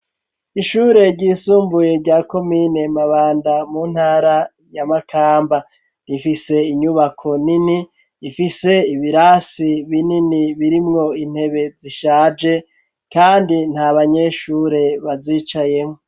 Ishure ryisumbuye rya komine Mabanda mu ntara ya Makamba ifise inyubako nini ifise ibirasi binini birimwo intebe zishaje kandi nta banyeshure bazicayemwo.